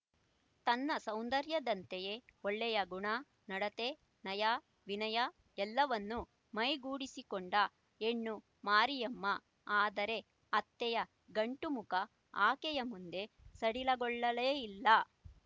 ತನ್ನ ಸೌಂದರ್ಯದಂತೆಯೇ ಒಳ್ಳೆಯ ಗುಣ ನಡತೆ ನಯ ವಿನಯ ಎಲ್ಲವನ್ನೂ ಮೈಗೂಡಿಸಿಕೊಂಡ ಹೆಣ್ಣು ಮರಿಯಮ್ಮ ಆದರೆ ಅತ್ತೆಯ ಗಂಟು ಮುಖ ಆಕೆಯ ಮುಂದೆ ಸಡಿಲಗೊಳ್ಳಲೇ ಇಲ್ಲ